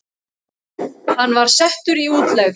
Hann var settur í útlegð.